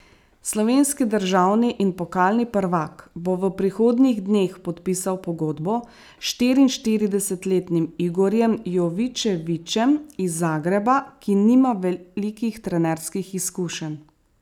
Slovenski državni in pokalni prvak bo v prihodnjih dneh podpisal pogodbo s štiriinštiridesetletnim Igorjem Jovičevićem iz Zagreba, ki nima velikih trenerskih izkušenj.